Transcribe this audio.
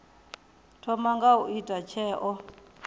thoma nga u ita tsheo